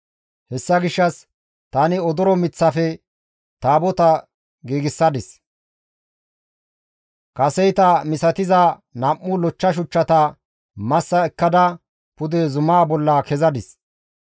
Hessa gishshas tani odoro miththafe Taabota giigsadis; kaseyta misatiza nam7u lochcha shuchchata massa ekkada pude zumaa bolla kezadis.